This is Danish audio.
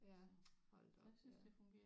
Ja hold da op ja